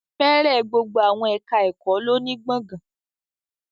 Fẹ́rẹ̀ gbogbo àwọn ẹ̀ká ẹ̀kọ́ lọ ní gbọ̀gán